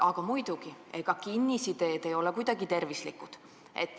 Aga muidugi, ega kinnisideed ei ole kuidagi tervislikud.